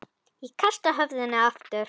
Ég kasta höfðinu aftur.